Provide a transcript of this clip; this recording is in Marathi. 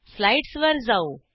स्लाईडस वर जाऊ